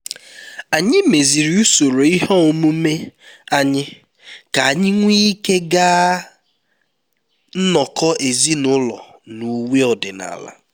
anyị meziri usoro ihe omume anyị ka anyị nwee ike ịga nnọkọ ezinụlọ na uwe ọdịnala